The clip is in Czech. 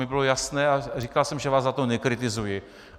Mně bylo jasné a říkal jsem, že vás za to nekritizuji.